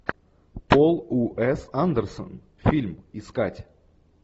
пол уэс андерсон фильм искать